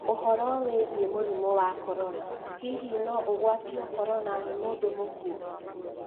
ũhoro wĩgiĩ mũrimũ wa Korona: hihi no ũgwatio Korona nĩ mũndũ mũkuũ